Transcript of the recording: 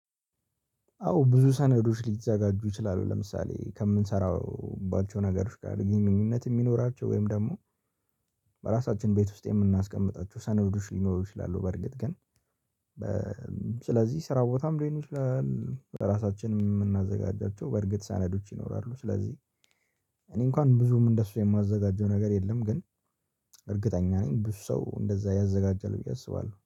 አዎ ብዙ ሰነዶች ሊዘጋጁ ይችላሉ ለምሳሌ ከምንሰራባቸው ነገሮች ጋር ግንኙነት የሚኖራቸው ወይም ደግሞ በራሳችን ቤት ውስጥ የምናስቀምጣቸው ሰነዶች ሊኖሩ ይችላሉ። በርግጥ ግን ስለዚህ ስራ ቦታም ሊሆን ራሳችንም የምናዘጋጃቸው በእርግጥ ሰነዶች ይኖራሉ። ስለዚህ እኔ እንኳን ብዙም እንደሱ የማዘጋጀው ነገር የለም። ግን እርግጠኛ ነኝ ብዙ ሰው እንደዛ ያዘጋጃል ብዬ አስባለሁ